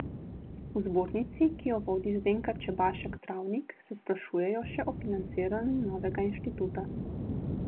V zbornici, ki jo vodi Zdenka Čebašek Travnik, se sprašujejo še o financiranju novega inštituta.